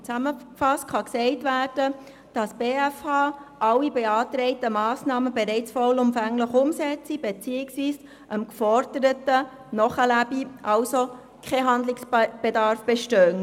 Zusammenfassend kann man sagen, dass die BFH alle beantragten Massnahmen bereits vollumfänglich umsetze beziehungsweise dem Geforderten nachlebe und somit kein Handlungsbedarf bestehe.